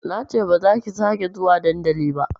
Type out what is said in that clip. Nace bazaki sake zuwa dandali ba